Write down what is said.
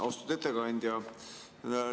Austatud ettekandja!